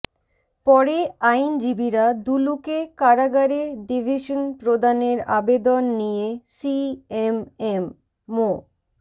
পরে আইনজীবীরা দুলুকে কারাগারে ডিভিশন প্রদানের আবেদন নিয়ে সিএমএম মো